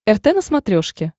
рт на смотрешке